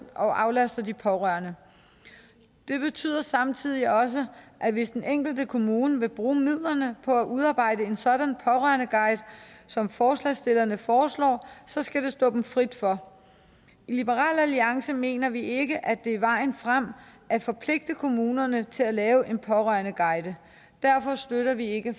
og aflaster de pårørende det betyder samtidig også at hvis den enkelte kommune vil bruge midlerne på at udarbejde en sådan pårørendeguide som forslagsstillerne foreslår skal det stå dem frit for i liberal alliance mener vi ikke at det er vejen frem at forpligte kommunerne til at lave en pårørendeguide derfor støtter vi ikke